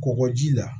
Kɔgɔji la